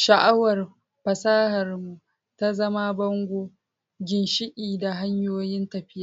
sha'awar fasahar mu, ta zama bango, ginshiƙai, da hanyoyin tafiya.